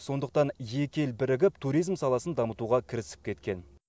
сондықтан екі ел бірігіп туризм саласын дамытуға кірісіп кеткен